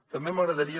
també m’agradaria